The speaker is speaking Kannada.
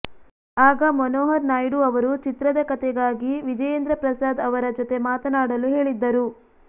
ಆಗ ಮನೋಹರ್ ನಾಯ್ಡು ಅವರು ಚಿತ್ರದ ಕಥೆಗಾಗಿ ವಿಜಯೇಂದ್ರ ಪ್ರಸಾದ್ ಅವರ ಜೊತೆ ಮಾತನಾಡಲು ಹೇಳಿದ್ದರು